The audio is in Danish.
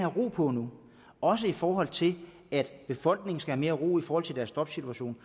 ro på nu også i forhold til at befolkningen skal have mere ro i forhold til deres jobsituation